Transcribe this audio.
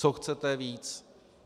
Co chcete víc?